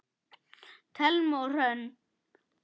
Thelma og Hrönn.